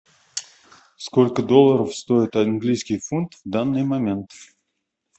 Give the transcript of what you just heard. сколько долларов стоит английский фунт в данный момент